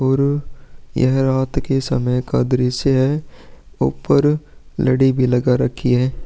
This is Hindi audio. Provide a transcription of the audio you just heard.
और यह रात का दृश्य है ऊपर लड़ी भी लगा रखी है।